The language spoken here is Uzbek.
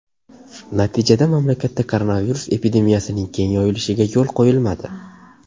Natijada mamlakatda koronavirus epidemiyasining keng yoyilishiga yo‘l qo‘yilmadi.